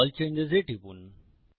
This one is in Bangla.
আল চেঞ্জেস এ টিপুন